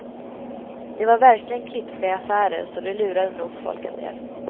De var verkligen klipska i affärer så de lurade nog folk en del.